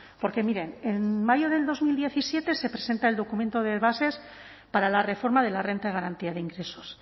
porque miren en mayo de dos mil diecisiete se presenta el documento de bases para la reforma de la renta de garantía de ingresos